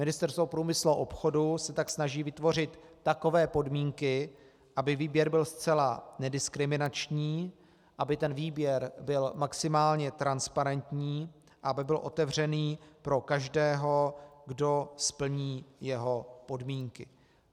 Ministerstvo průmyslu a obchodu se tak snaží vytvořit takové podmínky, aby výběr byl zcela nediskriminační, aby ten výběr byl maximálně transparentní, aby byl otevřený pro každého, kdo splní jeho podmínky.